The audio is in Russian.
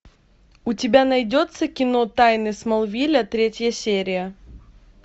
у тебя найдется кино тайны смолвиля третья серия